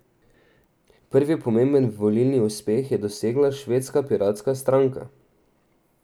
Prvi pomemben volilni uspeh je dosegla Švedska piratska stranka.